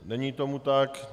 Není tomu tak.